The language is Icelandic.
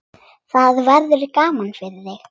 Það verður gaman fyrir þig.